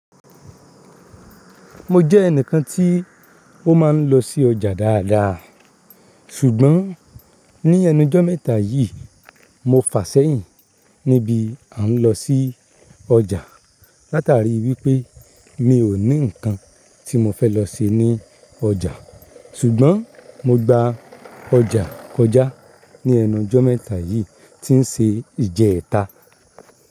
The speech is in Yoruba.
Mo jẹ́ ẹnìkan tí ó máa ń lọ sí ọjà dáadáa. Ṣùgbọ́n ní ẹnujọ́ méta yìí, mo fàsẹ́yìn ní bí a ń lọ sí ọjà látàrí wípé mi ò ní ǹkan tí mo fẹ́ lọ se ní ọjà. Ṣùgbọ́n mo gba ọjà kọjá ní ẹnujọ́ méta yìí tí ń ṣe ìje ẹ̀ta.